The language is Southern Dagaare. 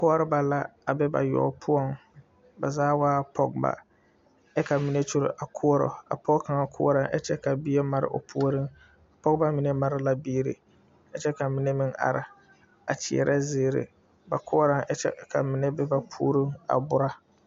Koɔreba la a be ba wɛo poɔŋ ba zaa waa pɔgebɔ kyɛ ka mine kyure a koɔrɔ a pɔge kaŋa koɔrɔ a kyɛ ka bie mare o puoriŋ pɔgebɔ mine mare la biire a kyɛ ka mine meŋ area kyɛɛrɛ zeere ba koɔrɔŋ kyɛ ka mine a bura.